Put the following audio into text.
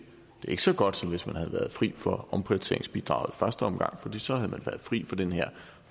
er ikke så godt som hvis man havde været fri for omprioriteringsbidraget i første omgang for så havde man været fri for den her